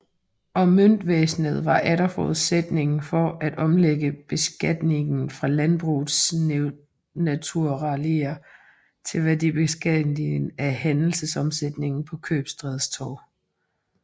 Og møntvæsenet var atter forudsætningen for at omlægge beskatningen fra landbrugets naturalier til værdibeskatning af handelsomsætningen på købstædernes torve